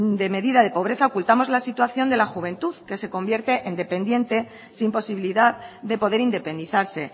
de medida de pobreza ocultamos la situación de la juventud que se convierte en dependiente sin posibilidad de poder independizarse